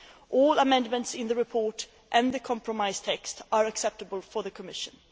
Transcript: All amendments in the report and the compromise text are acceptable to the Commission.